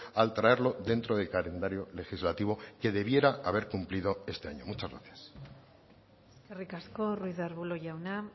al traerlo dentro del calendario legislativo que debiera haber cumplido este año muchas gracias eskerrik asko ruiz de arbulo jauna